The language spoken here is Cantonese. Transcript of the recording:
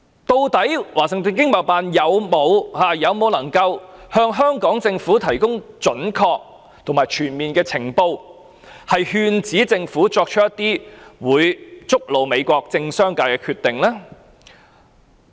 究竟華盛頓經貿辦能否向香港政府提供準確和全面的情報，勸止政府作出會觸怒美國政商界的決定？